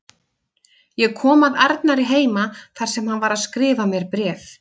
Ég kom að Arnari heima þar sem hann var að skrifa mér bréf.